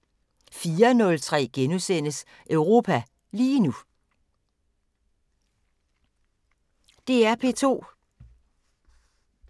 DR P2